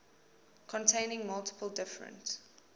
containing multiple different